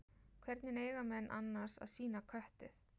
Hvernig eiga menn annars að sýna köttið?